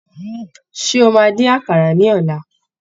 Ṣé o máa dín àkàrà ní ọ̀la?